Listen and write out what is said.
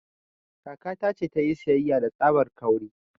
Kakata ta ce ta yi siyayya da tsabar 'kawri'